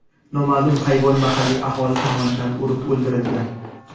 noma’lum hayvon mahalliy aholi tomonidan urib o‘ldirilgan.